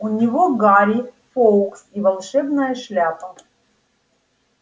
у него гарри фоукс и волшебная шляпа